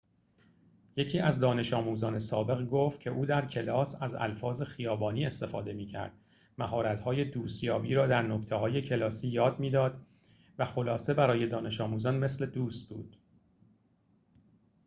یکی از دانش‌آموزان سابق گفت که او در کلاس از الفاظ خیابانی استفاده می‌کرد مهارت‌های دوست‌یابی را در نکته‌های کلاسی یاد می‌داد و خلاصه برای دانش‌آموزان مثل دوست بود